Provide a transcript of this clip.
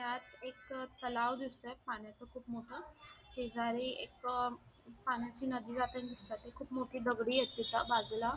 यात एक तलाव दिसतोय पाण्याचा खूप मोठा शेजारी एक पाण्याची नदी जातानी दिसताती खूप मोठी दगडीयत तिथ बाजूला --